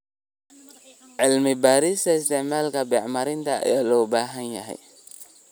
Cilmi-baarista isticmaalka bacriminta ayaa loo baahan yahay.